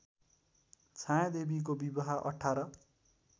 छायादेवीको विवाह १८